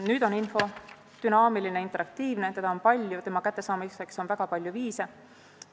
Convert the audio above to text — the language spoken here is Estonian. Nüüd on info dünaamiline, interaktiivne, seda on palju ja selle kättesaamiseks on väga palju viise.